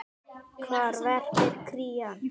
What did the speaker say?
Hvar verpir krían?